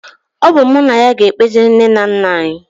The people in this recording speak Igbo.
Ọ bụ mụ na ya ga-ekpezi nne na nna anyị